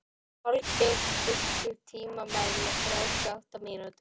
Holgeir, stilltu tímamælinn á þrjátíu og átta mínútur.